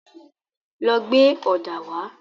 Lọ gbé ọ̀dà wá.